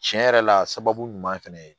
Tiɲɛ yɛrɛ la sababu ɲuman fɛnɛ ye